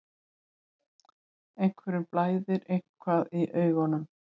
Einhverjum blæðir eitthvað í augum